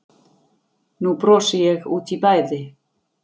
Nú brosi ég út í bæði